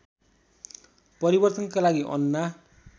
परिवर्तनका लागि अन्ना